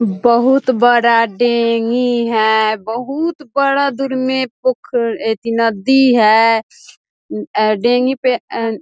बहुत बड़ा डेंगी है बहुत बड़ा दूर में पोखर अथि नद्दी है अ डेंगी पे अ --